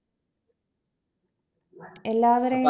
എല്ലാവരെയും